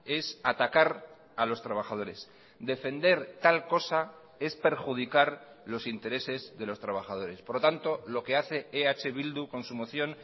es atacar a los trabajadores defender tal cosa es perjudicar los intereses de los trabajadores por lo tanto lo que hace eh bildu con su moción